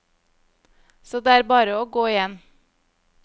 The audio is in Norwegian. Så det er bare å gå igjen.